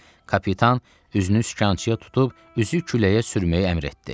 Kapitan üzünü sükançıya tutub üzü küləyə sürməyi əmr etdi.